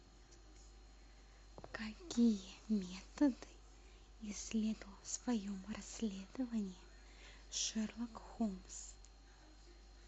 какие методы исследовал в своем расследовании шерлок холмс